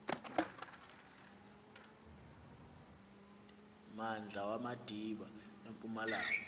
mmandla wamadiba empumalanga